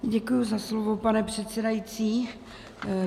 Děkuji za slovo, pane předsedající.